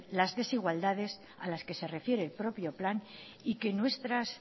las desigualdades a las que se refiere el propio plan y que nuestras